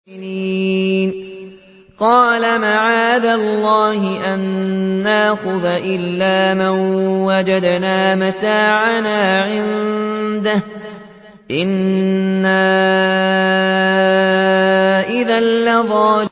قَالَ مَعَاذَ اللَّهِ أَن نَّأْخُذَ إِلَّا مَن وَجَدْنَا مَتَاعَنَا عِندَهُ إِنَّا إِذًا لَّظَالِمُونَ